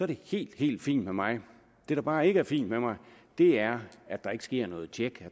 det helt helt fint med mig det der bare ikke er helt fint med mig er at der ikke sker noget tjek